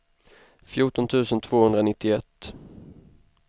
fjorton tusen tvåhundranittioett